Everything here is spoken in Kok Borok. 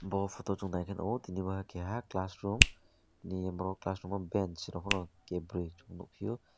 bo photo o song naike nogo tini bo keha class room ni borok class room banch rokorok ke boroi tong nogpio.